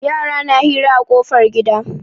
Yara na hira a ƙofar gida.